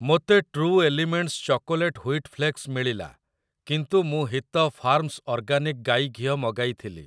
ମୋତେ true elements chocolate wheat flakes ମିଳିଲା କିନ୍ତୁ ମୁଁ ହିତ ଫାର୍ମସ୍ ଅର୍ଗାନିକ୍‌ ଗାଇ ଘିଅ ମଗାଇଥିଲି ।